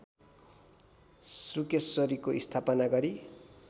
शुक्रेश्वरीको स्थापना गरी